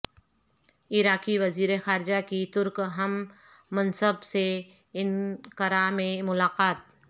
عراقی وزیر خارجہ کی ترک ہم منصب سے انقرہ میں ملاقات